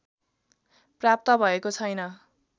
प्राप्त भएको छैन्